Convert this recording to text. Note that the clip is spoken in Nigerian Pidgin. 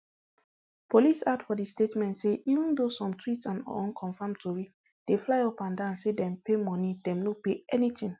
police add for di statement say even though some tweets and unconfirmed tori dey fly upandan say dem pay moni dem no pay anytin